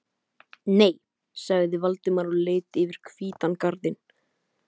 Nei- sagði Valdimar og leit yfir hvítan garðinn.